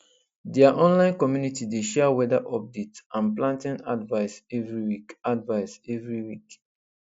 their online community dey share weather update and planting advice every week advice every week